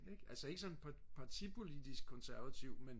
ikk altså ikke sådan partipolitisk konservativ men